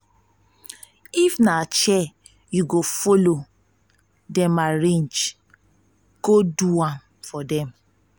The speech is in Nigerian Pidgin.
if na chair yu go follow dem arrange do am for dem